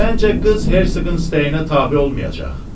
Məncə qız Hersoğun istəyinə tabe olmayacaq.